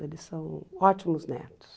Eles são ótimos netos.